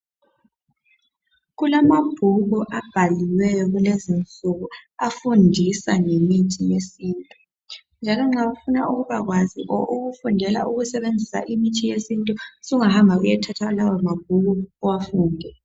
Kulamabhuku abhaliweyo kulezi insuku afundisa ngemithi yesintu njalo nxa ufuna ukubakwazi or ukufundela ukusebenzisa imithi yesintu sungathatha lawa mabhuku uwafunde.